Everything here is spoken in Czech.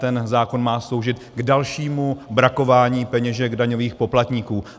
Ten zákon má sloužit k dalšímu brakování peněženek daňových poplatníků.